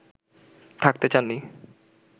থাকতে চাননি